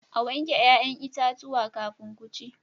A wanke 'ya'yan itatuwa kafin ku ci.